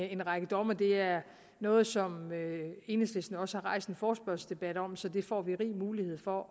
en række domme og det er noget som enhedslisten også har rejst en forespørgselsdebat om så det får vi rig mulighed for